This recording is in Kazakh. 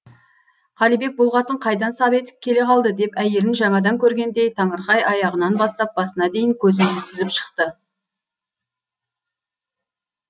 қалибек бұл қатын қайдан сап етіп келе қалды деп әйелін жаңадан көргендей таңырқай аяғынан бастап басына дейін көзімен сүзіп шықты